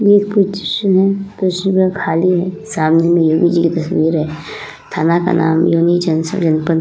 ये कुछ कुर्सी कुर्सीयाँ खाली हैं। सामने में नेहरू जी की तस्वीर है। थाना का नाम --